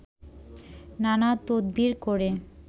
নানা তদবির করে